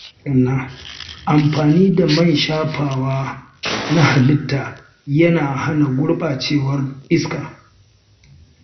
Amfani da man shafawa na halitta yana hana gurbacewar iska.